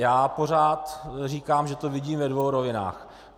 Já pořád říkám, že to vidím ve dvou rovinách.